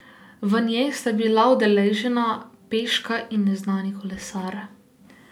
V njej sta bila udeležena peška in neznani kolesar.